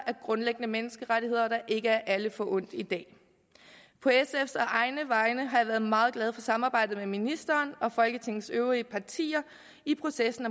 grundlæggende menneskerettigheder der ikke er alle forundt i dag på sfs og egne vegne har jeg været meget glad for samarbejdet med ministeren og folketingets øvrige partier i processen